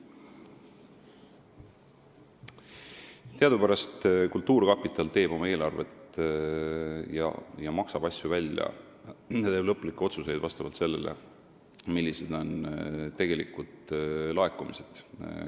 Teadupärast teeb kultuurkapital oma eelarvet, maksab asju välja ja teeb lõplikke otsuseid vastavalt sellele, millised on tegelikud laekumised.